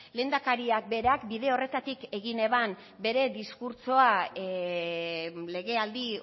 lehendakariak berak bide horretatik egin zuen bere diskurtsoa legealdi